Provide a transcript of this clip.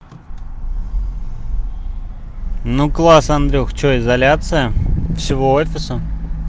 ну класс андрюха что изоляция всего офиса